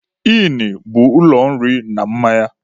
ỊỊnụ bụ ụlọ nri na mmanya.